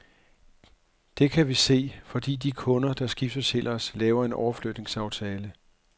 Det kan vi se, fordi de kunder, der skifter til os, laver en overflytningsaftale.